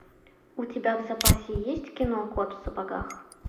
у тебя в запасе есть кино кот в сапогах